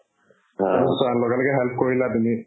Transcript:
তাৰপিছত চোৱা লগেলগে help কৰিলা তুমি